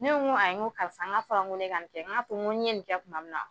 Ne ko n ko ayi, n ko karisa n ko a fɔra ko ne ka nin kɛ, n ko ni n ye nin kɛ tuma min na